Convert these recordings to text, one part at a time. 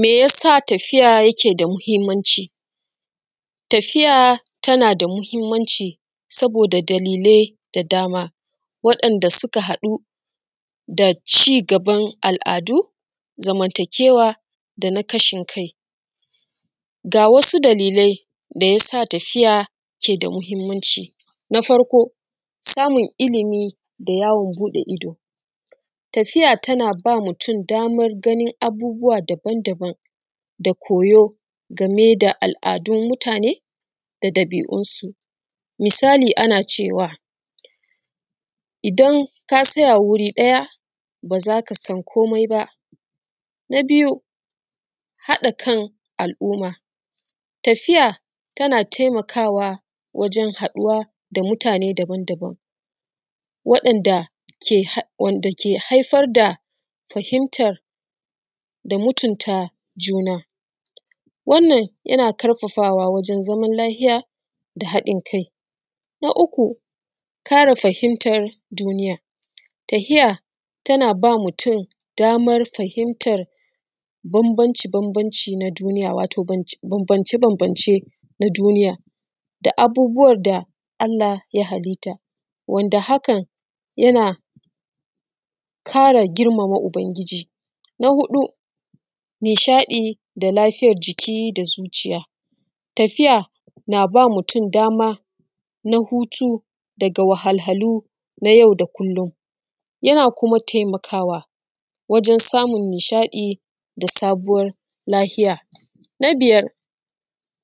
Me yasa tafiya yake da muhimmanci? Tafiya tana da muhimmanci saboda dalilai da dama, waɗanda suka haɗu da ci gaban al’adu, zamantakewa da na ƙashin kai. Ga wasu dalilai da ya sa tafiya ke da muhimmanci: na fako, samun ilimi da yawon buɗe ido, tafiya tana ba mutum damar ganin abubuwa daban daban da koyo game da al’adun mutane da ɗabi’unsu. Misali ana cewa, idan ka tsaya wuri ɗaya, ba za ka san komi ba. Na biyu, haɗa kan al’umma, tafiya tana taimakawa wajen haɗuwa da mutane daban daban, waɗanda ke haif…. Wanda ke haifar da fahimtar da mutunta juna. Wannan yana ƙarfafawa wajen zaman lafiya da haɗin kai. Na uku, ƙara fahimtar duniya. Tahiya tana ba mutum damar fahimtar bambanci bambanci na duniya, wato bambance bambance na duniya da abubuwan da Allah ya halitta, wanda hakan yana ƙara girmama Ubangiji. Na huɗu, nishaɗi da lafiyar jiki da zuciya, Tafiya na ba mutum dama na hutu daga wahalhalu na yau da kullum, yana kuma taimakawa wajen samun nishaɗi da sabuwar lahiya. Na biyar,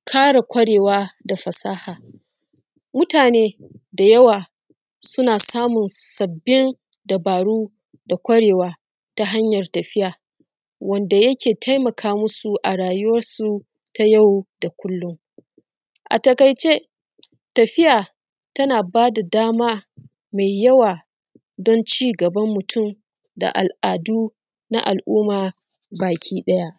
ƙara ƙwarewa da fasaha, mutane da yawa suna samun sabbin dabaru da ƙwarewa ta hanyar tafiya, wanda yake taimaka musu a rayuwarsu ta yau da kullum. A taƙaice tafiya tana ba da dama mai yawa don ci gaban mutum da al’adu na al’umma baki ɗaya.